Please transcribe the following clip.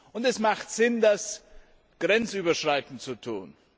Und es macht Sinn, das grenzüberschreitend zu tun.